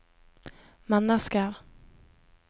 mennesker